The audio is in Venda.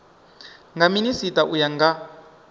nga minisita u ya nga